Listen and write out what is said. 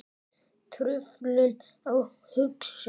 Truflun á hugsun